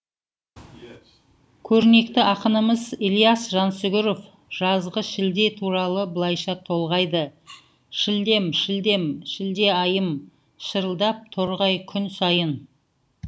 көрнекті ақынымыз ілияс жансүгіров жазғы шілде туралы былайша толғайды шілдем шілдем шілде айым шырылдап торғай күн сайын